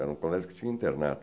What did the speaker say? Era um colégio que tinha internato.